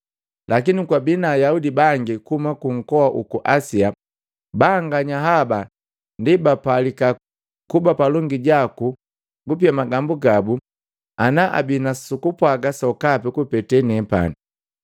Lakini kwabii na Ayaudi bangi kuhuma kunkoa uku Asia, banganya haba ndi bapalika kuba palongi jaku nukupia magambu gabu ana abi nusukupwaga sokapi kupeta nepani.